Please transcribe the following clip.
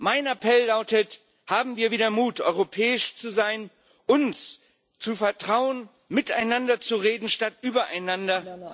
Mein Appell lautet Haben wir wieder Mut, europäisch zu sein, uns zu vertrauen, miteinander zu reden statt übereinander.